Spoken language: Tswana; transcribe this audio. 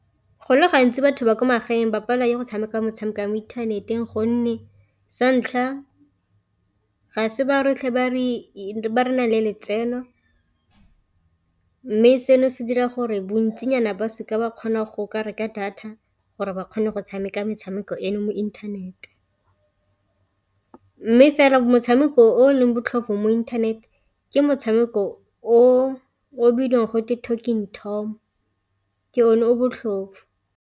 Go le gantsi batho ba ko magaeng ba palelwa ke go tshameka motshameko wa mo inthaneteng, gonne santlha ga se ba rotlhe ba re nang le letseno mme seno se dira gore bantsinyana ba seke ba kgona go ka reka data gore ba kgone go tshameka metshameko eno mo inthanete. Mme fela motshameko o leng botlhofo mo inthanete ke motshameko o bidiwang gote Talking Tom ke o ne o botlhofo.